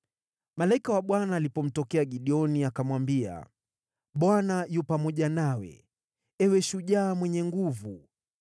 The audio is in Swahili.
Malaika wa Bwana alipomtokea Gideoni, akamwambia, “ Bwana yu pamoja nawe, Ewe shujaa mwenye nguvu.”